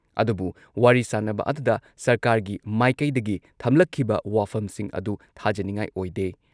ꯑꯗꯨꯕꯨ ꯋꯥꯔꯤ ꯁꯥꯟꯅꯕ ꯑꯗꯨꯗ ꯁꯔꯀꯥꯔꯒꯤ ꯃꯥꯏꯀꯩꯗꯒꯤ ꯊꯝꯂꯛꯈꯤꯕ ꯋꯥꯐꯝꯁꯤꯡ ꯑꯗꯨ ꯊꯥꯖꯅꯤꯉꯥꯏ ꯑꯣꯏꯗꯦ ꯫